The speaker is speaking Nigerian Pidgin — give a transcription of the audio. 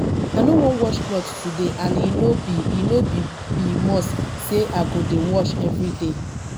i no wan wash cloth today and e no be e no be must say i go dey wash everyday